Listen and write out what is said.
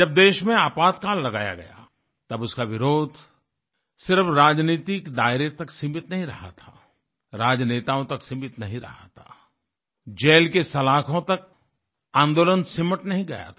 जब देश में आपातकाल लगाया गया तब उसका विरोध सिर्फ राजनीतिक दायरे तक सीमित नहीं रहा था राजनेताओं तक सीमित नहीं रहा था जेल के सलाखों तक आन्दोलन सिमट नहीं गया था